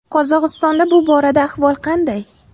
Qozog‘istonda bu borada ahvol qanday?